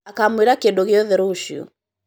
akamwĩra kĩndũ gĩothe rũcio